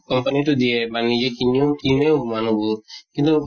company তো দিয়ে বা নিজে কিনিও, কিনেও মানুহবোৰ । কিন্তু